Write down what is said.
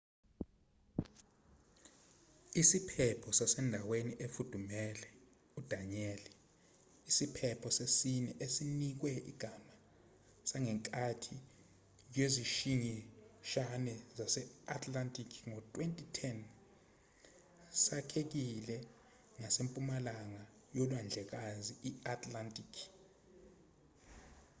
isiphepho sasendaweni efudumele udanielle isiphepho sesine esinikwe igama sangenkathi yezishingishane zase-atlantic ngo-2010 sakhekile ngasempumalanga yolwandlekazi i-atlantic